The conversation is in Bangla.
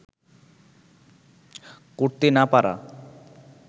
করতে না পারা